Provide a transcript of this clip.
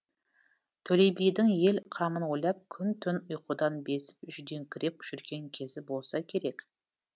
төле бидің ел қамын ойлап күн түн ұйқыдан безіп жүдеңкіреп жүрген кезі болса керек